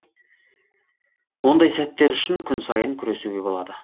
ондай сәттер үшін күн сайын күресуге болады